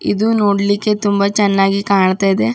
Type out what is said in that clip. ಇದು ನೋಡ್ಲಿಕ್ಕೆ ತುಂಬ ಚೆನ್ನಾಗಿ ಕಾಣ್ತಾ ಇದೆ.